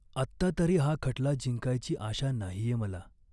आत्ता तरी हा खटला जिंकायची आशा नाहीये मला.